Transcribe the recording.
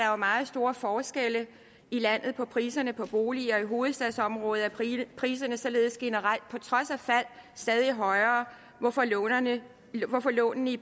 jo meget store forskelle i landet på priserne på boliger i hovedstadsområdet er priserne priserne således generelt på trods af fald stadig højere hvorfor lånene hvorfor lånene i